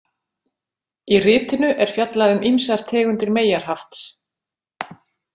Í ritinu er fjallað um ýmsar tegundir meyjarhafts.